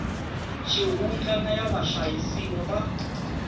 xihundla na ya vahlayisiwa va